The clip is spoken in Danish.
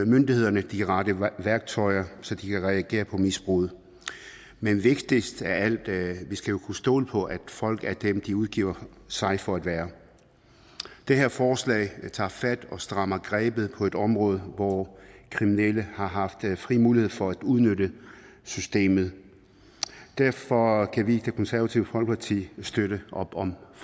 myndighederne de rette værktøjer så de kan reagere på misbruget men vigtigst af alt er at vi kan stole på at folk er dem som de udgiver sig for at være det her forslag tager fat og strammer grebet på et område hvor kriminelle har haft fri mulighed for at udnytte systemet og derfor kan vi i det konservative folkeparti støtte op om